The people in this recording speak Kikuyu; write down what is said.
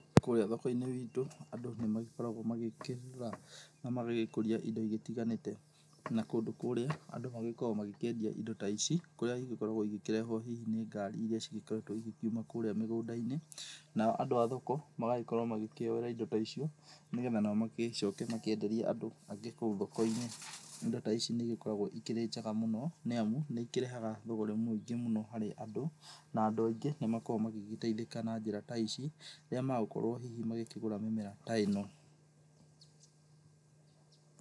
Kũrĩa thokoinĩ iitũ andũ, nĩmagĩkoragũo magĩkĩgũra na magĩgĩkũria indo igĩtiganĩte na kũndũ kũrĩa andũ magĩkoragũo makĩendia indo ta ici, kũrĩa igĩkoragũo igĩkĩendio hihi nĩ ngari irĩa igĩkoretũo igĩkiuma kũrĩa mĩgũndainĩ. Nao andũ a thoko magagĩkorũo makĩoera indo ta icio nao magĩcoke makĩenderie andũ angĩ kũu thokoinĩ. Indo ta ici nĩ igĩkoragũo ikĩrĩ njega mũno nĩ amu nĩ ikĩrehaga thũgũrĩ mũingĩ mũno harĩ andũ, na andũ aingĩ nĩmakoragũo magĩteithĩka na njĩra ta ici, rĩrĩa magũkorũo hĩhĩ magĩkĩgũra mĩmera ta ĩno.